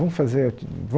Vamos fazer